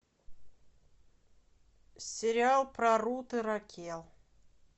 сериал про рут и ракел